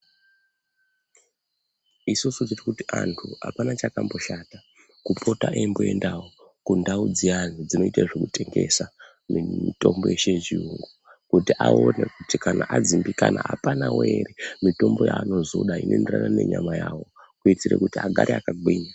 Isusu tiri kuti antu apana chakamboshata kupota eimboendawo kundau dziyana dzinoita zvekutengesa nemitombo yeshe yechiyungu kuti aone kuti kana adzimbikana apanawo ere mitombo yaanozoda inoenderana nenyama yawo kutitira kuti agare akagwinya.